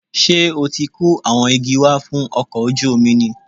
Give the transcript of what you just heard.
Ṣé o ti kó àwọn igi wá fún ọkọ̀ ojú omi ni?